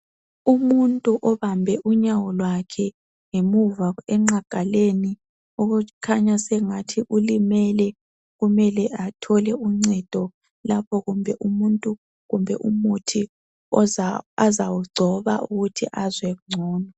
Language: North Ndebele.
Umuntu obambe unyawo lwakhe ngemuva enqagaleni okukhanya sengathi ulimele kumele athole uncedo lapho kumbe umuntu kumbe umuthi azawugcoba ukuthi azwengcono.